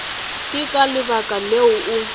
ke ka lebaka leo o